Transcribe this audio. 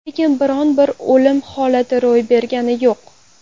Lekin biron-bir o‘lim holati ro‘y bergani yo‘q.